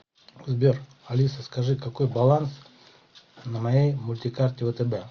сбер алиса скажи какой баланс на моей мультикарте втб